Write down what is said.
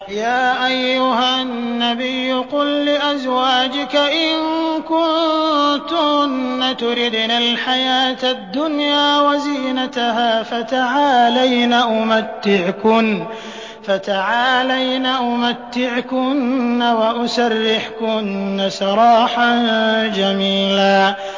يَا أَيُّهَا النَّبِيُّ قُل لِّأَزْوَاجِكَ إِن كُنتُنَّ تُرِدْنَ الْحَيَاةَ الدُّنْيَا وَزِينَتَهَا فَتَعَالَيْنَ أُمَتِّعْكُنَّ وَأُسَرِّحْكُنَّ سَرَاحًا جَمِيلًا